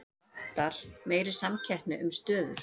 Það vantar meiri samkeppni um stöður